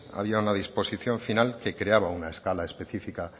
había una disposición final que creaba una escala específica